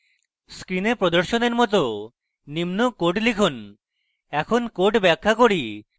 screen প্রদর্শনের মত নিম্ন code লিখুন এখন code ব্যাখ্যা করি